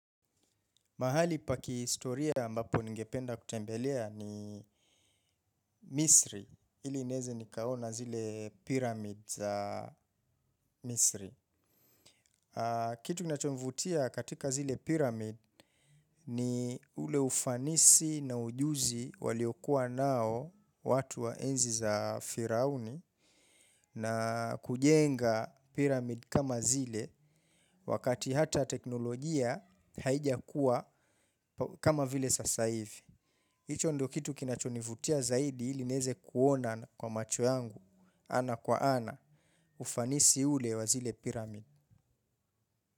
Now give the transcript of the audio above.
Mahali pa kihistoria ambapo ningependa kutembelea ni Misri, ili ineze nikaona zile pyramid za Misri. Kitu kinachonivutia katika zile pyramid ni ule ufanisi na ujuzi waliokuwa nao watu wa enzi za Firauni na kujenga pyramid kama zile wakati hata teknolojia haijakuwa kama vile sasa hivi. Hicho ndo kitu kinachonivutia zaidi ili nieze kuona kwa macho yangu, ana kwa ana, ufanisi ule wa zile pyramid.